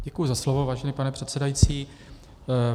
Děkuji za slovo, vážený pane předsedající.